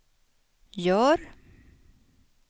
gör